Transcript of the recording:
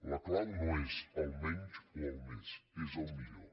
la clau no és el menys o el més és el millor